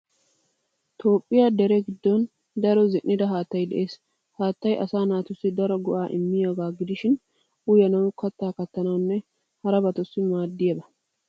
Toophphiya dere dere giddon daro zin'ida haattay de'ees. Haattay asaa naatussi daro go'aa immiyagaa gidishin uyanawu, kattaa kattanawunne harabatussi maaddiya anoba.